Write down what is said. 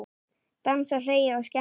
Dansað, hlegið og skemmt ykkur.